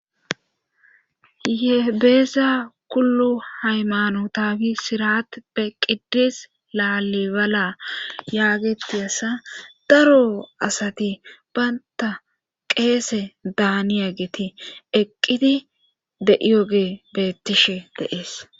ye beeza kullu haymano taagi sirat pe qidis laalibala yaageti asa daro asati baynta qeese daani ageti eqqidi de7iyoge beettishe deees